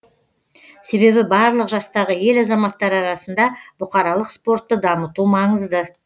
себебі барлық жастағы ел азаматтары арасында бұқаралық спортты дамыту маңызды